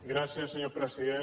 gràcies senyor president